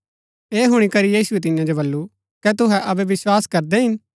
ऐह हुणी करी यीशुऐ तियां जो बल्लू कै तुहै अबै विस्वास करदै हिन